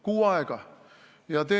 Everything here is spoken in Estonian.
Kuu aega!